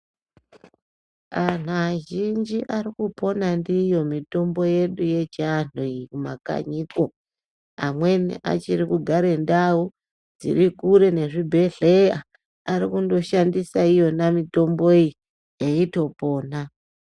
Antu azhinji ari kupona ndiyo mitombo yedu yechiantu iyi mumakanyimwo. Amweni achiri kugare ndau dzirikure nezvibhedhleya ari kundoshandise iyona mitombo iyi veitopona.